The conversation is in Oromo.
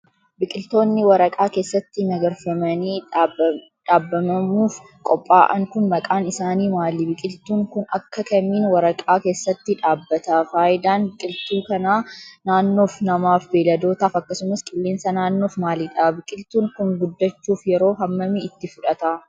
Biqiltoonni waraqaa keessatti magarfamanii dhaabbamamuuf qopha'an kun maqaan isaanii maali? Biqiltuun kun akka kamiin waraqaa keessatti dhaabbata? Faayidaan biqiltuu kanaa naannoof, namaaf ,beeyladootaaf akkasumas qilleensa naannoof maalidha? Biqiltuun kun guddachuuf yeroo hammamii itti fudhata?